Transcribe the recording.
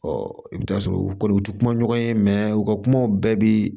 i bɛ t'a sɔrɔ u kɔni u tɛ kuma ɲɔgɔn ye u ka kumaw bɛɛ bi